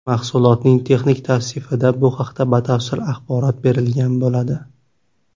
Mahsulotning texnik tavsifida bu haqda batafsil axborot berilgan bo‘ladi.